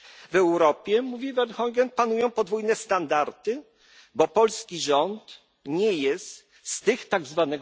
W Europie, mówi Verheugen, panują podwójne standardy, bo polski rząd nie jest z tych